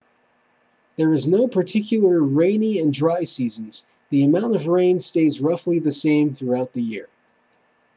there are no particular rainy and dry seasons the amount of rain stays roughly the same throughout the year